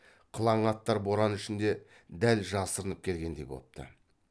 қылаң аттар боран ішінде дәл жасырынып келгендей бопты